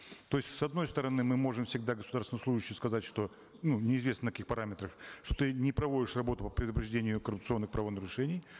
то есть с одной стороны мы можем всегда государственному служащему сказать что ну неизвестно на каких параметрах что ты не проводишь работу по предупреждению коррупционных правонарушений